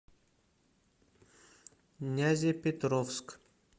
нязепетровск